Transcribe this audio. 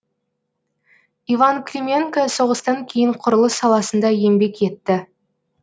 иван клименко соғыстан кейін құрылыс саласында еңбек етті